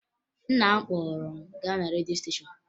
Nna m kpọrọ m gaa na redio steshọn